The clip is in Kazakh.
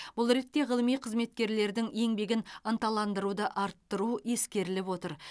бұл ретте ғылыми қызметкерлердің еңбегін ынталандыруды арттыру ескеріліп отыр